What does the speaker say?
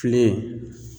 Fili